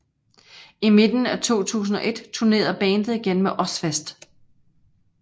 I midten af 2001 turnerede bandet igen med Ozzfest